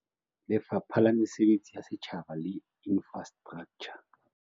Lefapha la Mesebetsi ya Setjhaba le Infrastraktjha.